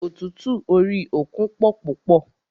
Ọ̀tútù orí òkun pọ púpọ̀.